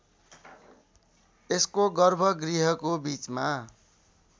यसको गर्भगृहको बीचमा